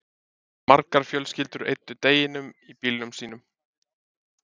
margar fjölskyldur eyddu deginum í bílum sínum